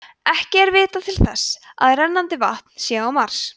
ekki er vitað til þess að rennandi vatn sé á mars